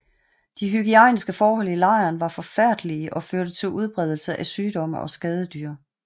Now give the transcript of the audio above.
De hygiejniske forhold i lejren var forfærdelige og førte til udbredelse af sygdomme og skadedyr